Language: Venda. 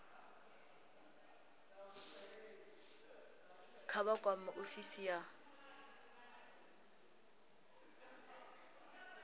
kha vha kwame ofisi ya